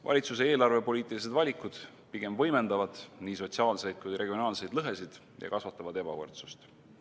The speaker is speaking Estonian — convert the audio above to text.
Valitsuse eelarvepoliitilised valikud pigem võimendavad nii sotsiaalseid kui ka regionaalseid lõhesid ja kasvatavad ebavõrdsust.